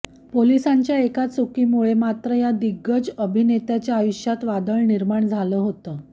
पोलिसांच्या एका चुकीमुळे मात्र या दिग्गज अभिनेत्याच्या आयुष्यात वादळ निर्माण झालं होतं